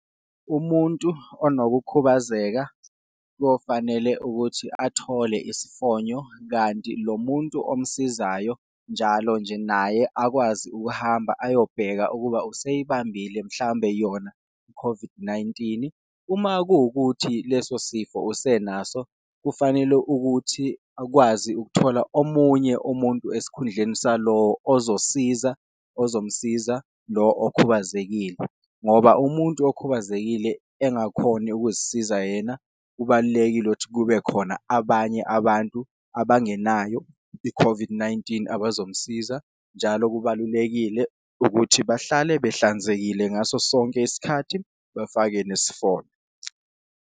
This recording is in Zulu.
Umuntu onokukhubazeka kofanele ukuthi athole isifonyo kanti lo muntu omsizayo njalo nje naye, akwazi ukuhamba ayobheka ukuba useyibambile mhlambe yona i-COVID-19. Uma kuwukuthi leso sifo usenaso kufanele ukuthi akwazi ukuthola omunye umuntu esikhundleni salo ozosiza, ozomsiza lo okhubazekile ngoba umuntu okhubazekile engakhoni ukuzisiza yena. Kubalulekile ukuthi kube khona abanye abantu abangenayo i-COVID-19 abazomsiza, njalo kubalulekile ukuthi bahlale behlanzekile ngaso sonke isikhathi, bafake nesifonyo.